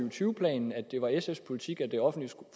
og tyve planen at det var sfs politik at det offentlige